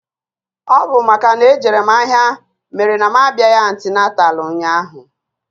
Ọ bụ makana ejere mụ ahịa mere na mụ abịaghị antịnantal ụnyaahụ.